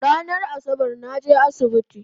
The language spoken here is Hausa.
Ranan Asabar naje asibiti